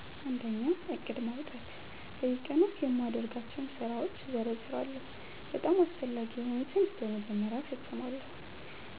1. ዕቅድ ማውጣት በየቀኑ የማደርጋቸውን ስራዎች እዘርዝራለሁ፤ በጣም አስፈላጊ የሆኑትን በመጀመሪያ እፈጽማለሁ።